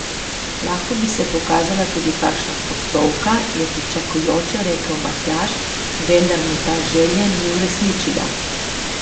Lahko bi se pokazala tudi kakšna postovka, je pričakujoče rekel Matjaž, vendar mu ta želje ni uresničila.